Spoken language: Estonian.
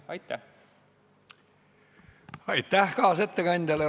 Aitäh kaasettekandjale!